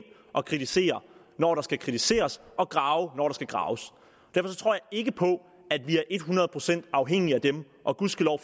og kritisere når der skal kritiseres og grave når der skal graves derfor tror jeg ikke på at vi er et hundrede procent afhængige af dem og gudskelov